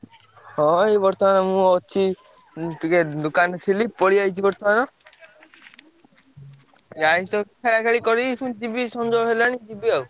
ହଁ ଏଇ ବର୍ତ୍ତମାନ ମୁଁ ଅଛି ଟିକେ ଦୋକାନରେ ଥିଲି ପଳେଇ ଆଇଚି ବର୍ତ୍ତମାନ। ଯାଇଛି ତ ଖେଳାଖେଳି କରିବି ପୁଣି ଯିବି ସଞ୍ଜ ହେଲାଣି ଯିବି ଆଉ।